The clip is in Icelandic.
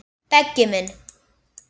Beggi minn.